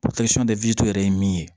yɛrɛ ye min ye